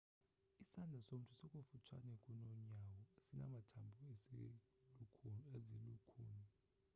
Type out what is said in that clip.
isandla somntu sikufutshane kunonyawo sinamathambo ezilukhuni